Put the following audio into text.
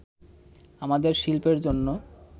আমাদের শিল্পের জন্য